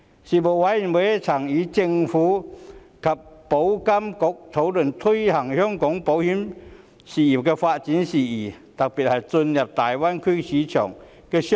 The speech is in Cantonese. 事務委員會曾與政府及保險業監管局討論推動香港保險業發展的事宜，特別是進入大灣區市場的措施。